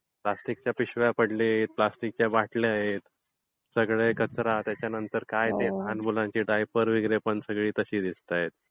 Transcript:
प्लॅस्टिकच्या पिशव्या पडल्यात. प्लॅस्टिकच्या बाटल्या, सगळा त्याच्यामध्ये कचरा. त्याच्यानंतर काय ते लहान मुलांचे डायपर वगैरे पण सगळे तसे दिसतायत.